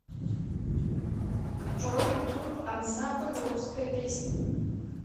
джой ютуб ансамбль русская песня